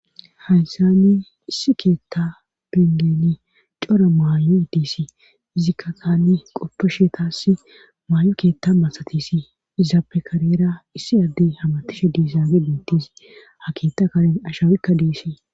Haysani issi keetta bengeni cora maay'o hidisi izikka taani qoppe sheetass maay'o keetta masatisi izaappe karera issi adde hamatishe diisaage biintis ha keetta kare ashawikka deesi.